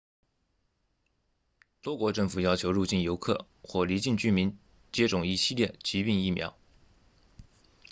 多国政府要求入境游客或离境居民接种一系列疾病疫苗